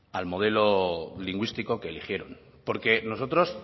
al modelo lingüístico que eligieron porque nosotros